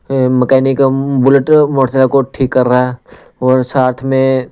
अह mechanical bullet motorcycle को ठीक कर रहा है और साथ में।